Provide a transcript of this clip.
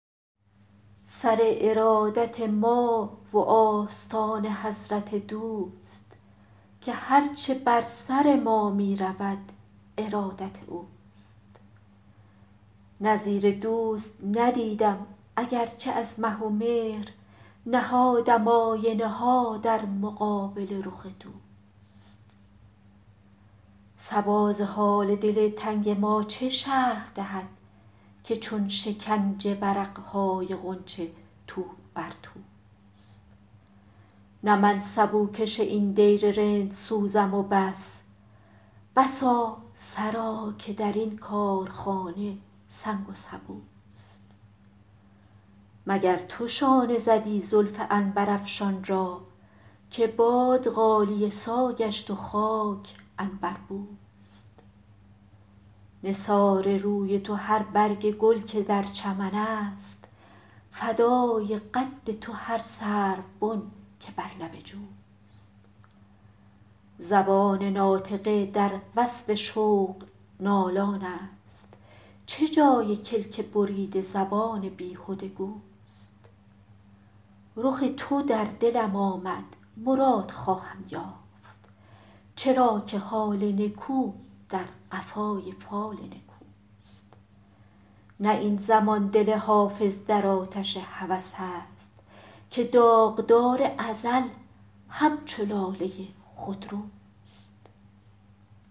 سر ارادت ما و آستان حضرت دوست که هر چه بر سر ما می رود ارادت اوست نظیر دوست ندیدم اگر چه از مه و مهر نهادم آینه ها در مقابل رخ دوست صبا ز حال دل تنگ ما چه شرح دهد که چون شکنج ورق های غنچه تو بر توست نه من سبوکش این دیر رندسوزم و بس بسا سرا که در این کارخانه سنگ و سبوست مگر تو شانه زدی زلف عنبرافشان را که باد غالیه سا گشت و خاک عنبربوست نثار روی تو هر برگ گل که در چمن است فدای قد تو هر سروبن که بر لب جوست زبان ناطقه در وصف شوق نالان است چه جای کلک بریده زبان بیهده گوست رخ تو در دلم آمد مراد خواهم یافت چرا که حال نکو در قفای فال نکوست نه این زمان دل حافظ در آتش هوس است که داغدار ازل همچو لاله خودروست